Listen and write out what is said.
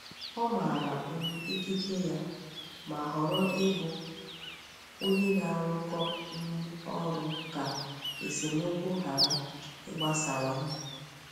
Ọ maara um ikike ya, ma họrọ ịbụ onye na-arụkọ um ọrụ ka esemokwu ghara ịgbasawanye.